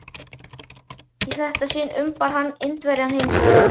Í þetta sinn umbar hann Indverjann hins vegar.